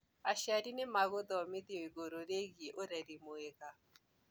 aciari nĩmegũthomithio igũrũ rĩgiĩ ũreri mwega